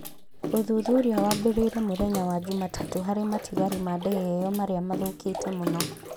Ũthuthuria wambĩrĩirie mũthenya wa Jumatatũ harĩ matigari ma ndege ĩyo marĩa mathũkĩte mũno.